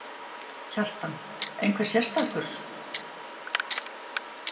Kjartan: Einhver sérstakur?